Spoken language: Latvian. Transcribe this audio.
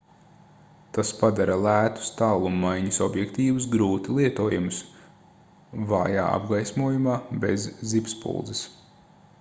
tas padara lētus tālummaiņas objektīvus grūti lietojamus vājā apgaismojumā bez zibspuldzes